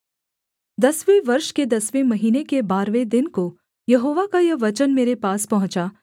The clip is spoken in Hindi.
दसवें वर्ष के दसवें महीने के बारहवें दिन को यहोवा का यह वचन मेरे पास पहुँचा